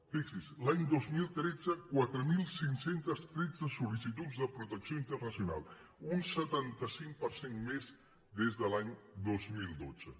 fixi’s l’any dos mil tretze quatre mil cinc cents i tretze sollicituds de protecció internacional un setanta cinc per cent més des de l’any dos mil dotze